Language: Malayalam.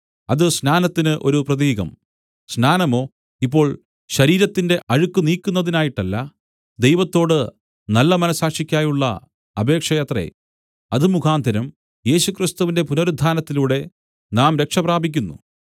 അത് സ്നാനത്തിന് ഒരു പ്രതീകം സ്നാനമോ ഇപ്പോൾ ശരീരത്തിന്റെ അഴുക്ക് നീക്കുന്നതിനായിട്ടല്ല ദൈവത്തോട് നല്ല മനസ്സാക്ഷിയ്ക്കായുള്ള അപേക്ഷയത്രെ അത് മുഖാന്തരം യേശുക്രിസ്തുവിന്റെ പുനരുത്ഥാനത്തിലൂടെ നാം രക്ഷപ്രാപിക്കുന്നു